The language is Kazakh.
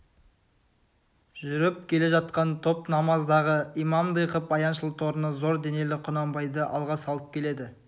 жүріп келе жатқан топ намаздағы имамдай қып аяңшыл торыны зор денелі құнанбайды алға салып келеді